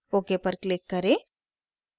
ok पर click करें